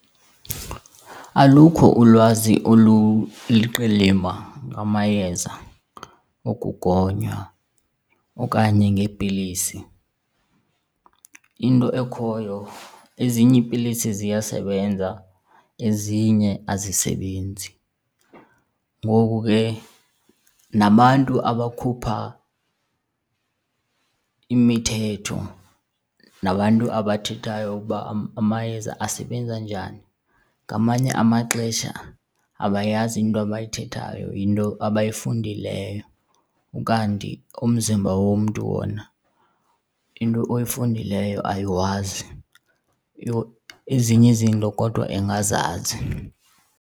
Alukho ulwazi oluliqilima ngamayeza okugonywa okanye ngeepilisi. Into ekhoyo, ezinye iipilisi ziyasebenza ezinye azisebenzi. Ngoku ke nabantu abakhupha imithetho nabantu abathethayo ukuba amayeza asebenza njani, ngamanye amaxesha abayazi into abayithethayo yinto abayifundileyo. Ukanti umzimba womntu wona into oyifundeleyo ayiwazi, ezinye izinto kodwa ingazazi.